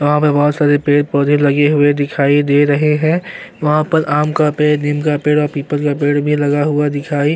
यहां पे बहोत सारे पेड़ पौधे लगे हुए दिखाई दे रहे हैं वहां पर आम का पेड़ नीम का पेड़ और पीपल का पेड़ भी लगा हुआ दिखाई --